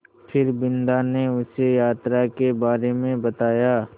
फिर बिन्दा ने उसे यात्रा के बारे में बताया